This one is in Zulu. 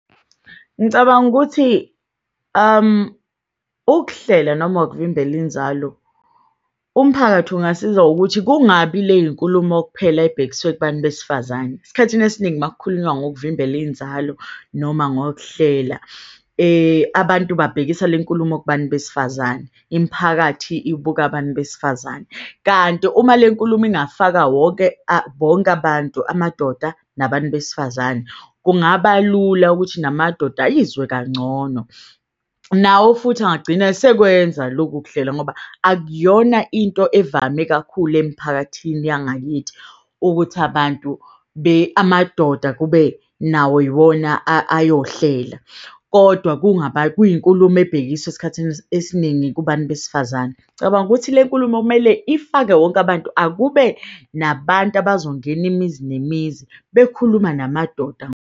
Ngicabanga ukuthi ukuhlela noma ukuvimbela inzalo umphakathi ungasiza ngokuthi kungabi leyinkulumo kuphela ebhekiswe kubantu besifazane. Esikhathini esiningi makukhulunywa ngokuvimbela inzalo noma ngokuhlela abantu babhekisise lenkulumo kubantu besifazane. Imiphakathi ibuka abantu besifazane kanti uma lenkulumo ingafaka wonke bonke abantu. Amadoda nabantu besifazane kungaba lula ukuthi namadoda ayizwe kancono nawo futhi angagcina esekwenza lokhu kuhlela ngoba akuyona into evame kakhulu emiphakathini yangakithi ukuthi abantu amadoda kube nawo iwona ayohlela. Kodwa kungaba kuyinkulumo ebhekiswe esikhathini esiningi kubantu besifazane. Ngicabanga ukuthi le nkulumo kumele ifake wonke abantu, akube nabantu abazongena imizi nemizi bekhuluma namadoda.